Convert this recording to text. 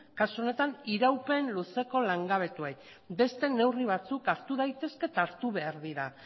kasu honetan iraupen luzeko langabetuei beste neurri batzuk hartu daitezke eta hartu behar dira